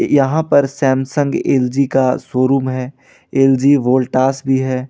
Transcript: यहां पर Samsung LG का शोरूम है एल_जी वोल्टास भी है।